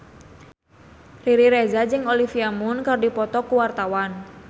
Riri Reza jeung Olivia Munn keur dipoto ku wartawan